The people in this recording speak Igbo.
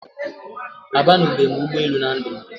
A banube m ụgbọ elù na ndụ m